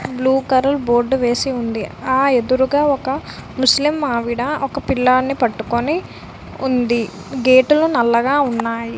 Blue colour board వేసి ఉంది ఆ ఎదురుగా ఒక ముస్లిం ఆవిడ ఒక పిల్లడిని పట్టుకొని ఉంది గేటు లు నల్లగా ఉన్నాయి.